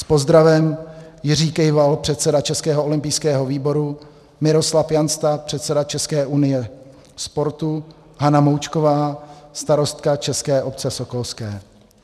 S pozdravem Jiří Kejval, předseda Českého olympijského výboru, Miroslav Jansta, předseda České unie sportu, Hana Moučková, starostka České obce sokolské."